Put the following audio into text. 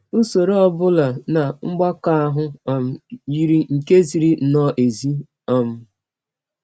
Usọrọ ọ bụla na mgbakọ ahụ um yiri nke ziri nnọọ ezi. um